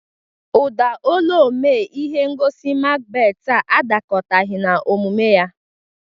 Ụda olu omee ihe ngosi Makbet a adakọtaghị n'omume ya.